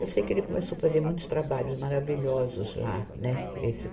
Eu sei que ele começou fazer muitos trabalhos maravilhosos lá, né? esse